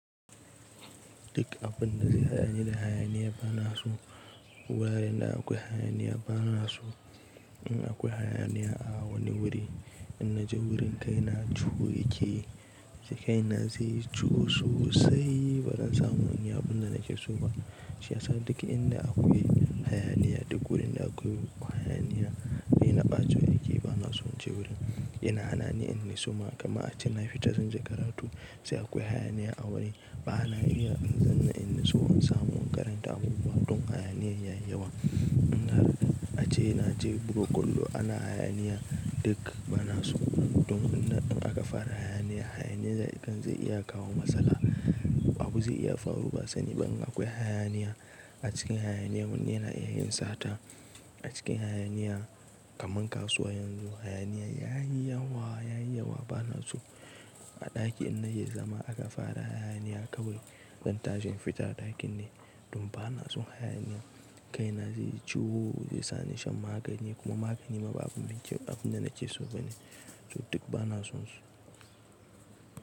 Duk abun da zai haɗani da hayaniya bana so. Warin da akwai hayaniya bana so. In akwai hayaniya a wani wuri, in naje wurin kai na ciwo yake. To kaina zai yi ciwo sosai, ba zan samu inyi abin da nake so ba. Shi yasa duk inda akwai hayaniya, duk wurin da akwai hayaniya, rai na ɓaciwa yake bana son je wurin. Ina hanani in in nitsu ma, kaman ace na fita zanje karatu sai akwai hayaniya a wani, ba na iya in zan nitsu in samu wani karanta abubuwa don hayaniyar yayi yawa. In har ace na je buga kwallo ana hayaniya duk bana so. Don inda aka fara hayaniya, hayaniya kan zai iya kawo matsala. Abu zai iya faruwa sani ban akwai hayaniya. A cikin hayaniya wani yana iya yin sata. A cikin hayaniya kaman kasuwa yanzu hayaniya yayi yawa, yayi yawa bana so. A ɗaki in na yi zama aka fara hayaniya kawai zan tashi in fita a ɗakin ne don bana son hayaniya. Kaina zai yi ciwo, zai sa ni shan magani kuma magani ma babu abin da nake so bane. To duk bana sonsu.